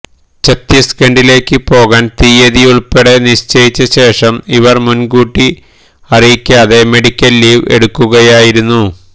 ഛത്തീസ്ഗഢിലേക്ക് പോകാന് തിയ്യതിയുള്പ്പെടെ നിശ്ചയിച്ച ശേഷം ഇവര് മുന്കൂട്ടി അറിയിക്കാതെ മെഡിക്കല് ലീവ് എടുക്കുകയായിരുന്നു